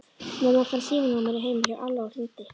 Mamma fann símanúmerið heima hjá Alla og hringdi.